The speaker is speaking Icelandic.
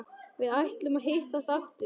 Við ætluðum að hittast aftur.